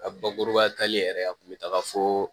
A bakuruba talen yɛrɛ a kun bɛ taga fo